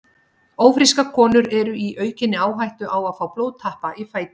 Ófrískar konur eru svo í aukinni áhættu á að fá blóðtappa í fætur.